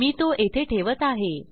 मी तो येथे ठेवत आहे